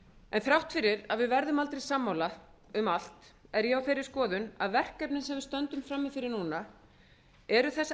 en þrátt fyrir að við verðum aldrei sammála um allt er ég á þeirri skoðun að verkefnin sem við stöndum frammi fyrir núna séu þess